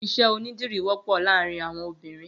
Iṣẹ ónidiri wọpọ làárìn awọn óbìrín